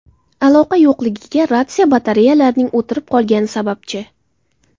Aloqa yo‘qligiga ratsiya batareyalarining o‘tirib qolgani sababchi.